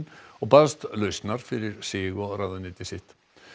og baðst lausnar fyrir sig og ráðuneyti sitt